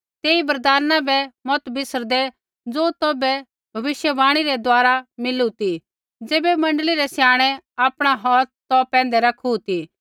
तेई वरदाना बै मत बिसरदै ज़ो तौभै भविष्यवाणी रै द्वारा मिलू ती ज़ैबै मण्डली रै स्याणै आपणा हौथ तौ पैंधै रखू ती